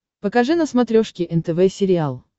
покажи на смотрешке нтв сериал